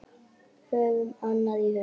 Höfum annað í huga.